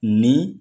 Ni